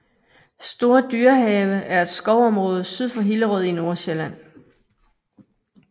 Store Dyrehave er et skovområde syd for Hillerød i Nordsjælland